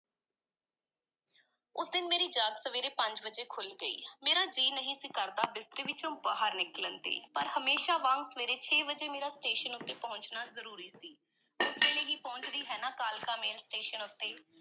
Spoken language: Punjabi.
ਉਸ ਦਿਨ ਮੇਰੀ ਜਾਗ ਸਵੇਰੇ ਪੰਜ ਵਜੇ ਖੁੱਲ੍ਹ ਗਈ, ਮੇਰਾ ਜੀਅ ਨਹੀਂ ਸੀ ਕਰਦਾ ਬਿਸਤਰੇ ਵਿੱਚੋਂ ਬਾਹਰ ਨਿਕਲਣ 'ਤੇ, ਪਰ ਹਮੇਸ਼ਾਂ ਵਾਂਗ ਸਵੇਰੇ ਛੇ ਵਜੇ ਮੇਰਾ ਸਟੇਸ਼ਨ ਉੱਤੇ ਪਹੁੰਚਣਾ ਬਹੁਤ ਜ਼ਰੂਰੀ ਸੀ ਉਸ ਵੇਲੇ ਹੀ ਪਹੁੰਚਦੀ ਹੈ ਨਾ ਕਾਲਕਾ-ਮੇਲ ਸਟੇਸ਼ਨ ਉੱਤੇ।